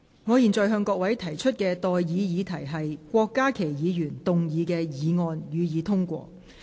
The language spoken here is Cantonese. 我現在向各位提出的待議議題是：郭家麒議員動議的議案，予以通過。